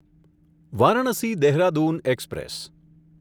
Varanasi Dehradun express